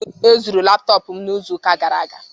Ezuru laptọpụ m n'izu ụka gara aga